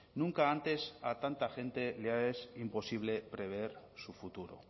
nunca antes a tanta gente le es imposible prever su futuro